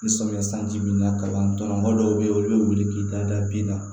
Ni samiya sanji binna kaban tɔnɔ mɔgɔ dɔw bɛ yen olu bɛ wuli k'i da bi la